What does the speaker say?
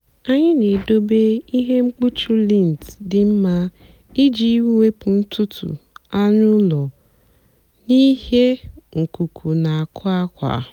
ànyị́ na-èdòbé ihe mkpùchì lìnt dị́ mma ìjì wèpụ́ ntùtù ànụ́ ụ́lọ́ n'íhé nkùkù na àkwà àkwà.